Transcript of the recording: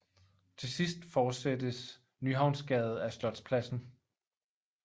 Til sidst forsættes Nyhavnsgade af Slotspladsen